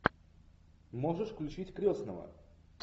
можешь включить крестного